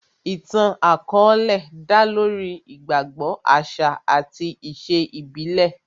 Ìtàn àkọ́ọ́lẹ̀ dá lórí ìgbàgbọ, àṣà àti ìṣe ìbílẹ̀